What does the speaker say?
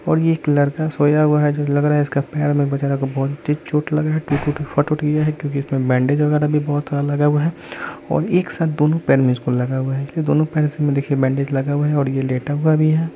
और ये एक लड़का सोया हुआ है जो लग रहा है इसके पैर में बेचारा को बहुत तेज चोट लगा है टुट उट फट उट गया है क्योंकि इसमें बैंडेज वगैरा भी बहुत सारा लगा हुआ है और एक साथ दोनों पैर में इसको लगा हुआ है इसलिए दोनों पैर में इसको देखिए बैंडेज लगा हुआ है और ये लेटा हुआ भी है।